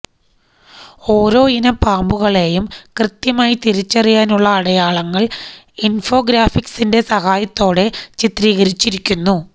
ഓരോയിനം പാമ്പുകളേയും കൃത്യമായി തിരിച്ചറിയാനുള്ള അടയാളങ്ങളൾ ഇൻഫോഗ്രാഫിക്സിന്റെ സഹായത്തോടെ ചിത്രീകരിച്ചിരിക്കുന്നു